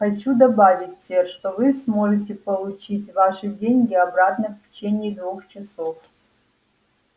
хочу добавить сэр что вы сможете получить ваши деньги обратно в течение двух часов